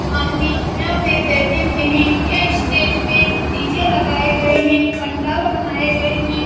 आदमी यहाँ पर बैठे हुए हैं यह स्टेज पे डी.जे. लगाए गए हैं पंडाल बनाए गए हैं ।